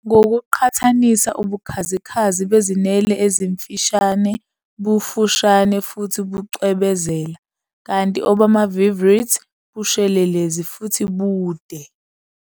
Ngokuqhathanisa, ubukhazikhazi bezinwele ezimfishane bufushane futhi bucwebezela, kanti obama-viverrids bushelelezi futhi bude.